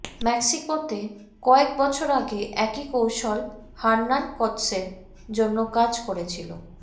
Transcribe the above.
মেক্সিকোতে কয়েক বছর আগে একই কৌশল হার্নান কর্টেসের জন্য কাজ করেছিল